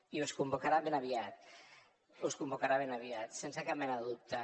i us convocarà ben aviat us convocarà ben aviat sense cap mena de dubte